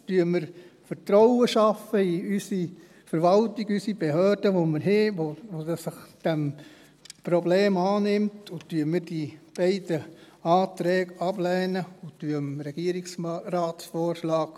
Schaffen wir Vertrauen in unsere Verwaltung, unsere Behörden, die wir haben, die sich dieses Problems annehmen, und lehnen wir die beiden Anträge ab und folgen dem Regierungsratsvorschlag.